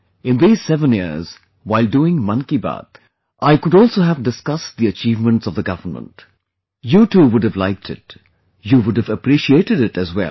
In these seven years, while doing 'Mann Ki Baat', I could also have discussed the achievements of the government...You too would have liked it; you would have appreciated it as well